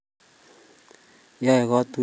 Yae katiyet ab kee tukul tugul che makat en